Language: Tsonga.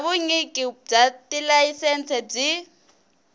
bya vunyiki bya tilayisense byi